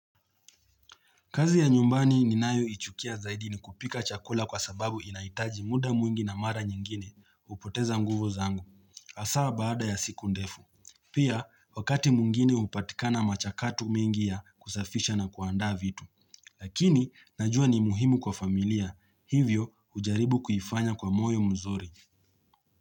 Kazi ya nyumbani ninayoichukia zaidi ni kupika chakula kwa sababu inahitaji muda mwingi na mara nyingine hupoteza nguvu zangu. Hasaa baada ya siku ndefu. Pia, wakati mwingine hupatikana machakatu mengi ya kusafisha na kuandaa vitu. Lakini, najua ni muhimu kwa familia. Hivyo, hujaribu kuifanya kwa moyo mzuri.